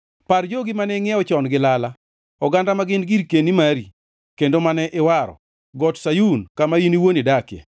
Par jogi mane ingʼiewo chon gi lala, oganda ma gin girkeni mari, kendo mane iwaro, Got Sayun, kama in iwuon idakie.